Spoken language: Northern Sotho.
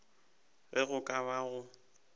ge go ka ba go